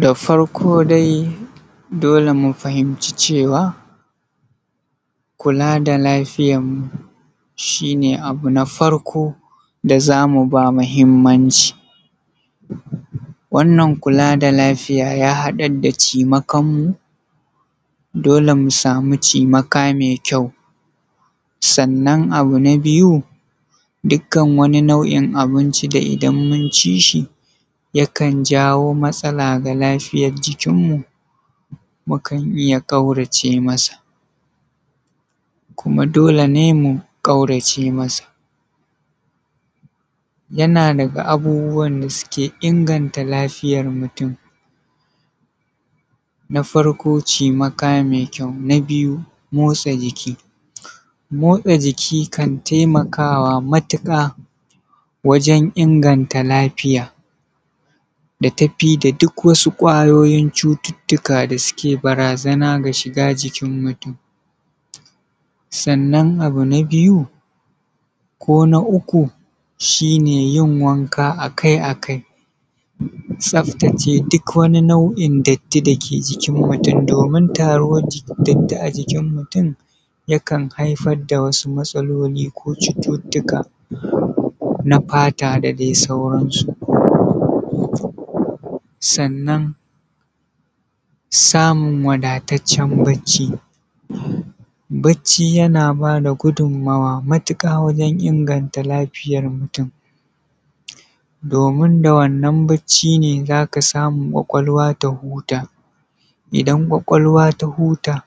da farko dai dole mu fahimci cewa kula da lafiyar mu shi ne abu na farko da zamu ba muhimmanci wannan kula da lafiyar ya haɗar da cimakan mu dole mu samu cimaka mai kyau sannan abu na biyu dukkan wani nau’i na abinci da idan mun ci shi yakan jawo matsala ga lafiyar jikinmu mu kan iya ƙaurace masa kuma dole ne mu ƙaurace masa yana daga abubuwan da suke inganta lafiyar mutum na farko cimaka mai kyau na biyu motsa jiki motsa jiki kan taimakawa matuƙa wajen inganta lafiya da tafi da duk wani kwayoyin cututtuka da su barazana ga shiga jikin mutum sannan abu na biyu ko na uku shine yin wanka akai-akai duk wani nau’i datti da ke jikin mutum domin taruwar datti a jikin mutum yakan haifar da wasu matsaloli ko cututtuka na fata da dai sauran su sannan samun wadataccen barci barci yana bada gudunmawa matuƙa wajen inganta lafiyar mutum domin da wannan barcin ne zaka samu ƙwaƙwalwa ta huta idan ƙwaƙwalwa ta huta